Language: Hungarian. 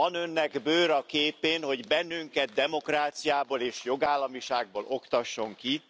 Van Önnek bőr a képén, hogy bennünket demokráciából és jogállamiságból oktasson ki?